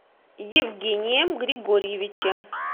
евгением григорьевичем